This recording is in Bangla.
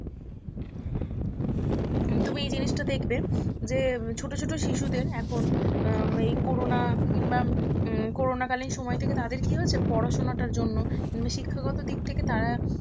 তুমি এই জিনিসটা দেখবে যে ছোট ছোট শিশুদের এখন উম এই করোনা কিংবা উম করোনা কালীন সময় থেকে তাদের কি হয়েছে পড়াশুনাটার জন্য শিক্ষাগত দিক থেকে তারা